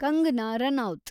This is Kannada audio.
ಕಂಗನಾ ರನೌತ್